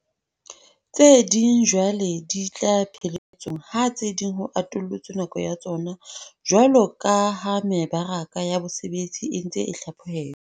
Tse ding jwale di tla pheletsong, ha tse ding ho atollotswe nako ya tsona jwaloka ha mebaraka ya bosebetsi e ntse e hlapho helwa.